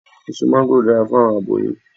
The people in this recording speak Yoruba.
Eso máńgòrò dara fun awọn aboyun